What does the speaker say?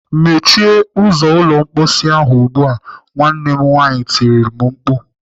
"Mechie ụzọ ụlọ mkposi ahụ ugbu a!" Nwanne m nwaanyị tirile m mkpu.